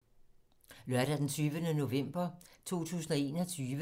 Lørdag d. 20. november 2021